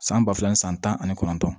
San ba fila ni san tan ani kɔnɔntɔn